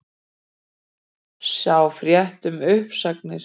Sjá frétt um uppsagnirnar